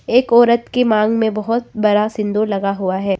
एक औरत के मांग में बहुत बड़ा सिंदूर लगा हुआ है।